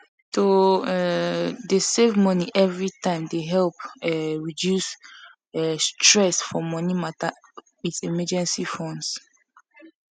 to um dey say money every time dey help um reduce um stress for money matter with emergency funds